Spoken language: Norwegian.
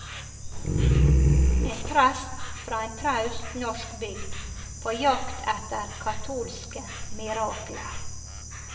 En prest fra en traust norsk bygd, på jakt etter katolske mirakler.